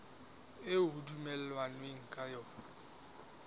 eo ho dumellanweng ka yona